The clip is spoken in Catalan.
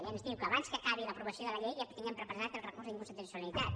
i ens diu que abans que acabi l’aprovació de la llei ja tinguem preparat el recurs d’inconstitucionalitat